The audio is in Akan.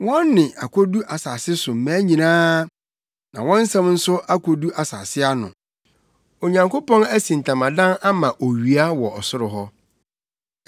Wɔn nne akodu asase so mmaa nyinaa, na wɔn nsɛm nso akodu asase ano. Onyankopɔn asi ntamadan ama owia wɔ ɔsoro hɔ.